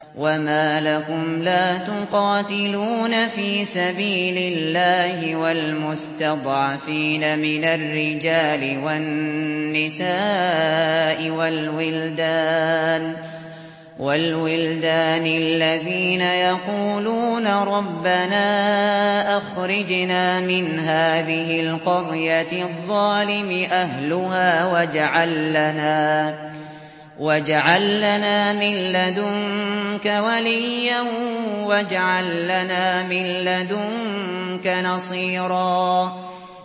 وَمَا لَكُمْ لَا تُقَاتِلُونَ فِي سَبِيلِ اللَّهِ وَالْمُسْتَضْعَفِينَ مِنَ الرِّجَالِ وَالنِّسَاءِ وَالْوِلْدَانِ الَّذِينَ يَقُولُونَ رَبَّنَا أَخْرِجْنَا مِنْ هَٰذِهِ الْقَرْيَةِ الظَّالِمِ أَهْلُهَا وَاجْعَل لَّنَا مِن لَّدُنكَ وَلِيًّا وَاجْعَل لَّنَا مِن لَّدُنكَ نَصِيرًا